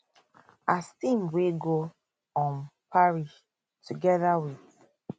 as team wey go um paris togeda wit